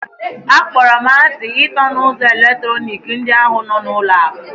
Akpọrọ m asị ịtọ na ụzọ eletrọnịkị ndị ahụ nọ n'ụlọ akụ.